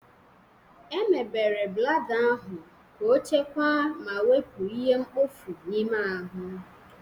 Emebere blada ahụ ka ọchekwaa ma wepụ ihe mkpofu n'ime ahụ.